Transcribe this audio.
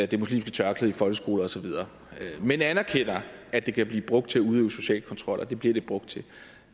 det muslimske tørklæde i folkeskoler osv men anerkender at det kan blive brugt til at udøve social kontrol og det bliver det brugt til